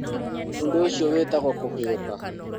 Ũndũ ũcio wĩtagwo kũhũyũka.